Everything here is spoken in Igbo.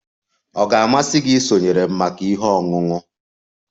Ọ ga-amasị gị isonyere m maka ihe ọṅụṅụ?